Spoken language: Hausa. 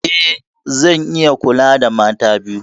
Eh, zan iya kula da mata biyu.